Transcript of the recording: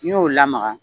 N'i y'o lamaga